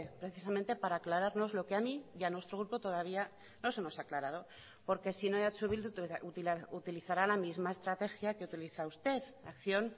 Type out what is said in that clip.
precisamente para aclararnos lo que a mí y a nuestro grupo todavía no se nos ha aclarado porque sino eh bildu utilizará la misma estrategia que utiliza usted acción